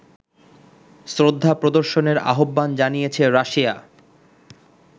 শ্রদ্ধা প্রদর্শনের আহ্বান জানিয়েছে রাশিয়া